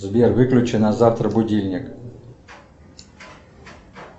сбер выключи на завтра будильник